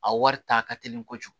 A wari ta ka teli kojugu